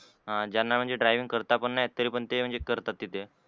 अं ज्यांना म्हणजे driving करता पण येत नाही ते करतात. तिथे